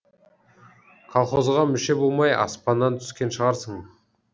колхозға мүше болмай аспаннан түскен шығарсың